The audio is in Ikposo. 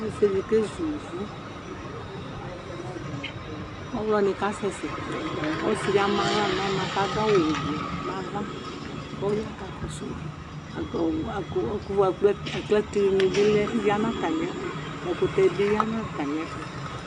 ɔsidi kezʋ ƒʋƒʋ ɔwlɔni kasɛsɛ ɔsidi amaa ʋwɔ nʋ ɔna kadʋ awʋ ʋblʋ nava kɔya kɔ ka kɔsʋma kʋ aklateni biya natamiɛtʋ ɛkʋtɛ biya natamiɛtʋ